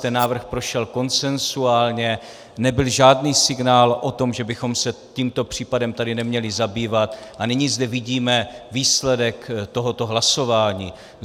Ten návrh prošel konsenzuálně, nebyl žádný signál o tom, že bychom se tímto případem tady neměli zabývat - a nyní zde vidíme výsledek tohoto hlasování.